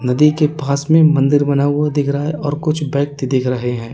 नदी के पास में मंदिर बना हुआ दिख रहा है और कुछ व्यक्ति देख रहे हैं।